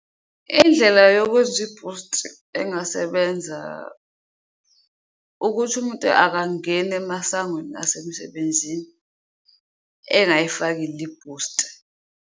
Indlela yokwenzi ibhusti engasebenza ukuthi umuntu akangeni emasangweni asemsebenzini engayifakile ibhusti.